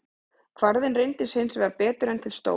Kvarðinn reyndist hins vegar betur en til stóð.